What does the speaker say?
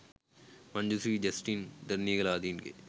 Manju Sri Justin Deraniyagala, ආදීන්ගේ